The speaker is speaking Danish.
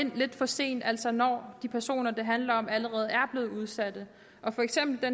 ind lidt for sent altså når de personer det handler om allerede er blevet udsatte for eksempel er